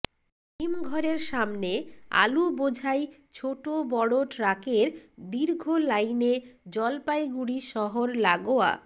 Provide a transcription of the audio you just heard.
হিমঘরের সামনে আলু বোঝাই ছোট বড় ট্রাকের দীর্ঘ লাইনে জলপাইগুড়ি শহর লাগোয়া